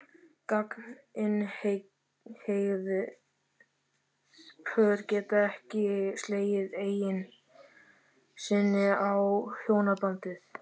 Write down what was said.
Gagnkynhneigð pör geta ekki slegið eign sinni á hjónabandið.